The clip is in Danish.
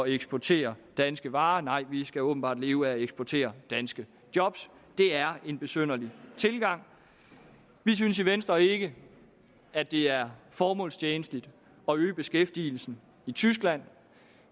eksportere danske varer nej vi skal åbenbart leve af at eksportere danske job det er en besynderlig tilgang vi synes i venstre ikke at det er formålstjenligt at øge beskæftigelsen i tyskland